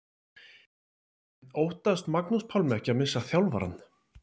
En óttast Magnús Pálmi ekki að missa þjálfarann?